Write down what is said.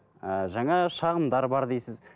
ыыы жаңа шағымдар бар дейсіз